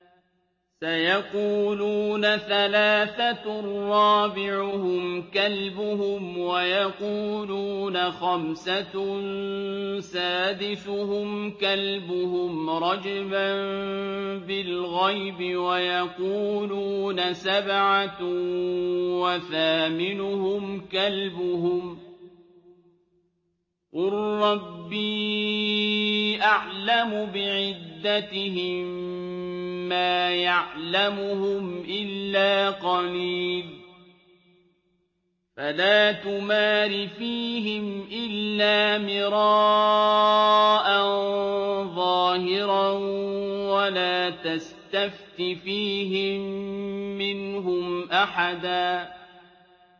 سَيَقُولُونَ ثَلَاثَةٌ رَّابِعُهُمْ كَلْبُهُمْ وَيَقُولُونَ خَمْسَةٌ سَادِسُهُمْ كَلْبُهُمْ رَجْمًا بِالْغَيْبِ ۖ وَيَقُولُونَ سَبْعَةٌ وَثَامِنُهُمْ كَلْبُهُمْ ۚ قُل رَّبِّي أَعْلَمُ بِعِدَّتِهِم مَّا يَعْلَمُهُمْ إِلَّا قَلِيلٌ ۗ فَلَا تُمَارِ فِيهِمْ إِلَّا مِرَاءً ظَاهِرًا وَلَا تَسْتَفْتِ فِيهِم مِّنْهُمْ أَحَدًا